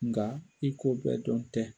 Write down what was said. Nka i ko bɛɛ dɔn tɛ.